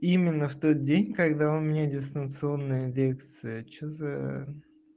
именно в тот день когда у меня дистанционная лекция что за